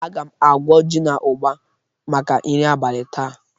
Aga m agwọ ji na ụgba maka nri abalị taa.